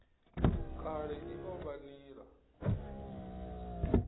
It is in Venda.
kale i o vha nila